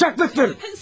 Alçaklıktır.